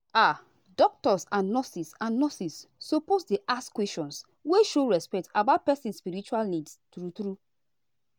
ah doctors and nurses and nurses suppose dey ask questions wey show respect about person spiritual needs true true.